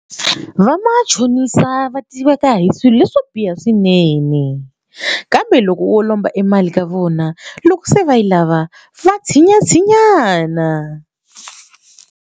Vamachonisa va tiveka hi swilo leswo biha swinene kambe loko wo lomba emali ka vona loko se va yi lava va tshinyatshinyana.